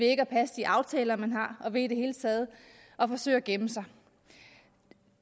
ikke at passe de aftaler man har og ved i det hele taget at forsøge at gemme sig